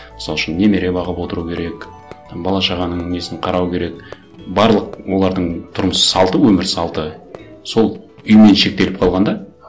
мысал үшін немере бағып отыру керек там бала шағаның несін қарау керек барлық олардың тұрмыс салты өмір салты сол үймен шектеліп қалған да